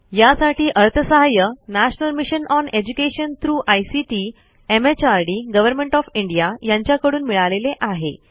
यासाठी अर्थसहाय्य national mission on education through ICT MHRD government of India यांच्याकडून मिळालेले आहे